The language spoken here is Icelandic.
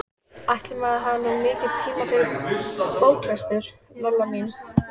Ætli maður hafi nú mikinn tíma fyrir bóklestur, Lolla mín.